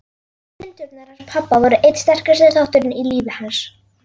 Kindurnar hans pabba voru einn sterkasti þátturinn í lífi hans.